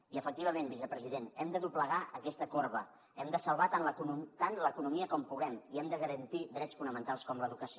i efectivament vicepresident hem de doblegar aquesta corba hem de salvar tant l’economia com puguem i hem de garantir drets fonamentals com l’educació